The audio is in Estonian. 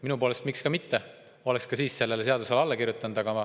Minu poolest miks ka mitte, ma oleks ka siis sellele seadusele alla kirjutanud.